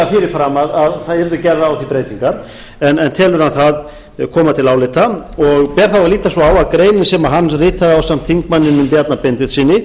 fyrirfram að það yrðu gerðar á því breytingar en telur hann það koma til álita og ber þá að líta svo á að greinin sem hann ritaði ásamt þingmanninum bjarna benediktssyni